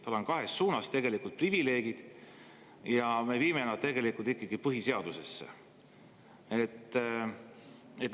Tal on kahes suunas tegelikult privileeg ja me viime selle tegelikult põhiseadusesse.